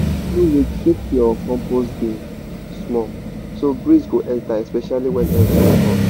every week shake your compost bin small so breeze go enter especially when everywhere hot.